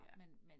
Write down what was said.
Ja